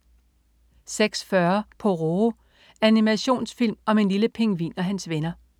06.40 Pororo. Animationsfilm om en lille pingvin og hans venner